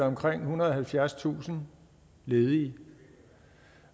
omkring ethundrede og halvfjerdstusind ledige